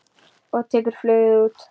Og tekur flugið út.